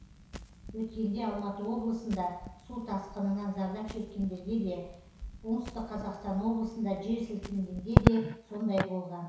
өткенде алматы облысында су тасқынынан зардап шеккендерге де оңтүстік қазақстан облысында жер сілкінгенде де сондай болған